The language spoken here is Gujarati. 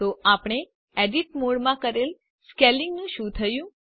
તો આપણે એડિટ મોડમાં કરેલ સ્કેલિંગનું શું થયું